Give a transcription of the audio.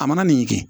A mana nin kɛ